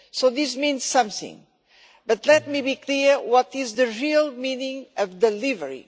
This means something, but let me be clear about the real meaning of delivery.